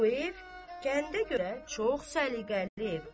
Bu ev kəndə görə çox səliqəli evdir.